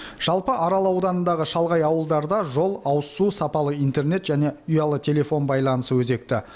жалпы арал ауданындағы шалғай ауылдарда жол ауызсу сапалы интернет және ұялы телефон байланысы өзекті